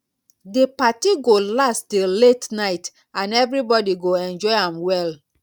di party go last till late night and everybody go enjoy am well.